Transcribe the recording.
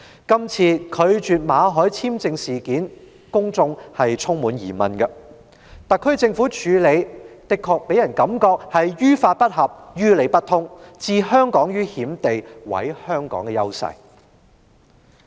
公眾對政府拒絕向馬凱先生發出簽證充滿疑問，特區政府的處理方法也令人覺得於法不合、於理不通，置香港於險地及毀香港的優勢。